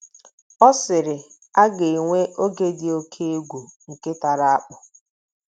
Ọ sịrị: “ A ga -- enwe oge dị oké um egwu, nke tara akpụ.